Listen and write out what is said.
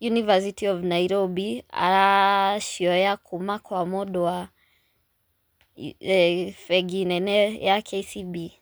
University of Nairobi aracioya kuma kwa mũndũ wa bengĩ nene ya KCB.